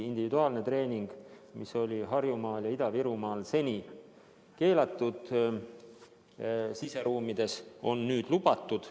Individuaalne treening, mis oli Harjumaal ja Ida-Virumaal siseruumides seni keelatud, on nüüd lubatud.